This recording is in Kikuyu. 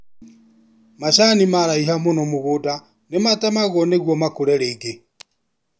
Macani maraiha mũno mũgũnda nĩ matemagwo nĩguo makũre rĩngĩ